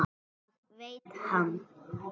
Það veit hann.